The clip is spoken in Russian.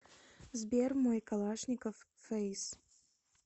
сбер мой калашников фейс